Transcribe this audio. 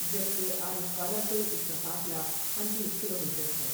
جبکہ عارفوالہ سے اس کا فاصلہ پنچیس کلومیٹر ہے ۔